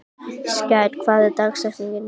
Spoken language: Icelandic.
Skær, hver er dagsetningin í dag?